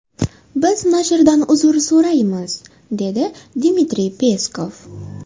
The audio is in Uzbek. Biz nashrdan uzr so‘raymiz”, dedi Dmitriy Peskov.